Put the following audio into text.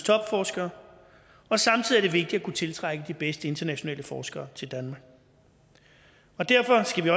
topforskere og samtidig er det vigtigt at kunne tiltrække de bedste internationale forskere til danmark derfor skal vi